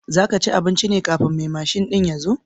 Za ka ci abincin ne kafin mai mashin ɗin ya zo?